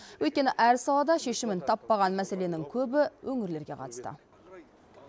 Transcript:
өйткені әр салада шешімін таппаған мәселенің көбі өңірлерге қатысты